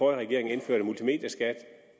regering indførte multimedieskat og